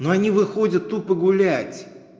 но они выходят тупо гулять